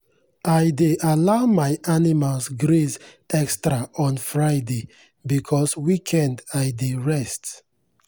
i dey allow my animals graze extra on friday because weekend i dey rest.